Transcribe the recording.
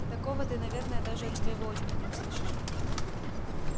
такого ты наверное даже от своего отчима не услышишь